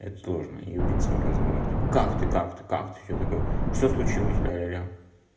это сложно и влиться в разговор типа как ты как ты как ты что случилось ля ля ля